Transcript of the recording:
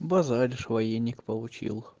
базаришь военник получил